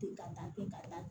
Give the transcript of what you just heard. Den ka taa ten ka taa